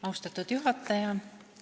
Austatud juhataja!